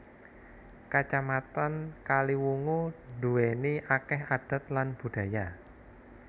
Kacamatan Kaliwungu duwéni akeh adat lan budaya